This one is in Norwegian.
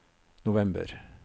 november